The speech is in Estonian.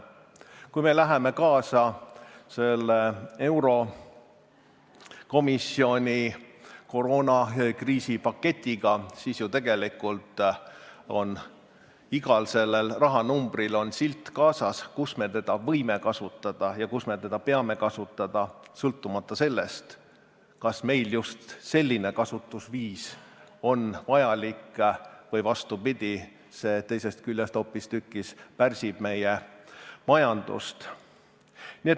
Kui me läheme kaasa eurokomisjoni koroonakriisi paketiga, siis tegelikult on seal igal rahanumbril silt kaasas, kus me seda võime kasutada ja kus me seda peame kasutama, sõltumata sellest, kas meile just selline kasutusviis on vajalik või see, vastupidi, teisest küljest hoopistükkis pärsib meie majandust.